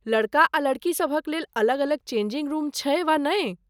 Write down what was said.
लड़का आ लड़की सभक लेल अलग अलग चेंजिंग रुम छै वा नहि?